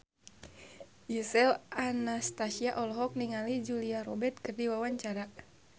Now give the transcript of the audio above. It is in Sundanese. Gisel Anastasia olohok ningali Julia Robert keur diwawancara